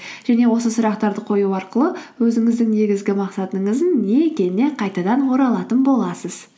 және осы сұрақтарды қою арқылы өзіңіздің негізгі мақсатыңыздың не екеніне қайтадан оралатын боласыз